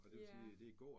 Ja